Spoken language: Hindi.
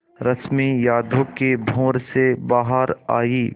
रश्मि यादों के भंवर से बाहर आई